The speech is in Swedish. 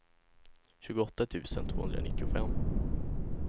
tjugoåtta tusen tvåhundranittiofem